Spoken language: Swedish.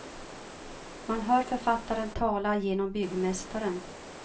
Man hör författaren tala genom byggmästaren.